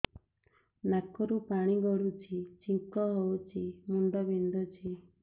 ନାକରୁ ପାଣି ଗଡୁଛି ଛିଙ୍କ ହଉଚି ମୁଣ୍ଡ ବିନ୍ଧୁଛି